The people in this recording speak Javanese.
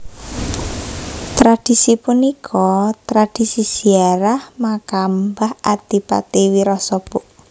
Tradhisi punika tradhisi ziarah makam mbah Adipati Wirasaba